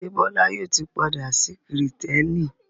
Ṣé Bọ́lá yóò ti padà sí Kìrìtẹ́ẹ́nì?